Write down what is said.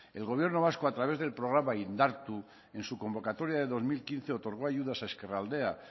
el gobierno vasco a través del programa indartu en su convocatoria del dos mil quince otorgó ayudas a ezkerraldea